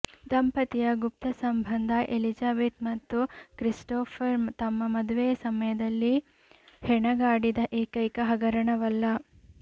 ದಂಪತಿಯ ಗುಪ್ತ ಸಂಬಂಧ ಎಲಿಜಬೆತ್ ಮತ್ತು ಕ್ರಿಸ್ಟೋಫರ್ ತಮ್ಮ ಮದುವೆಯ ಸಮಯದಲ್ಲಿ ಹೆಣಗಾಡಿದ ಏಕೈಕ ಹಗರಣವಲ್ಲ